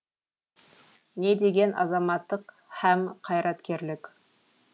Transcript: не деген азаматтық һәм қайраткерлік